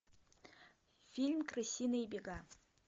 фильм крысиные бега